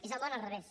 és el món al revés